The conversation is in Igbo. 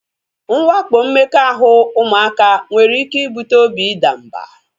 Nwakpo mmekọahụ ụmụaka nwere ike ibute obi idamba